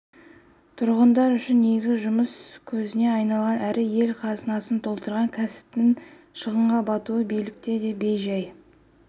тұрғындар үшін негізгі жұмыс көзіне айналған әрі ел қазынасын толтырған кәсіптің шығынға батуы билікті де бей-жай